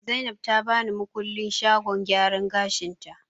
Zainab ta bani makullin shagon gyaran gashin ta